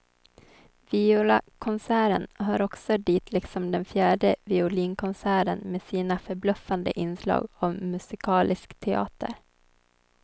Violakonserten hör också dit liksom den fjärde violinkonserten med sina förbluffande inslag av musikalisk teater.